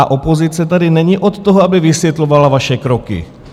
A opozice tady není od toho, aby vysvětlovala vaše kroky.